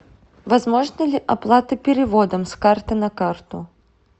возможна ли оплата переводом с карты на карту